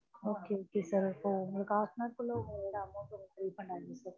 okay okay sir இப்போ உங்களுக்கு half an hour குள்ள உங்களோடய amount உ refund ஆகிடும் sir